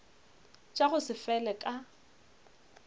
tša go se fele ka